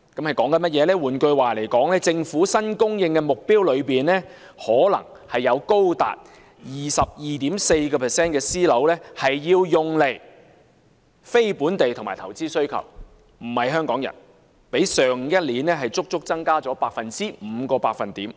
換言之，在政府新供應的目標中，可能會有高達 22.4% 的私樓要用來滿足非本地及投資需求，並非供應給香港人，較上年足足增加了5個百分點，即